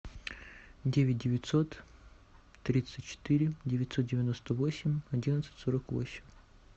девять девятьсот тридцать четыре девятьсот девяносто восемь одиннадцать сорок восемь